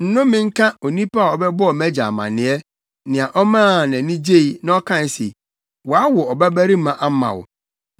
Nnome nka onipa a ɔbɛbɔɔ mʼagya amanneɛ, nea ɔmaa nʼani gyei, na ɔkae se, “Wɔawo ɔbabarima ama wo!”